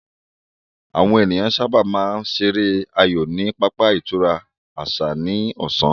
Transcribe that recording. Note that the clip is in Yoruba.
Àwọn ènìyàn sáábà máa ń ṣeré aayò ní pápá ìtura àṣà náà ní ọ̀sán